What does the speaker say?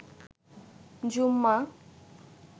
জুম্মা